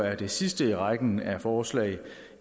er det sidste i rækken af forslag